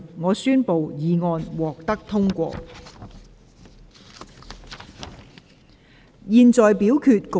我宣布議案獲得通過。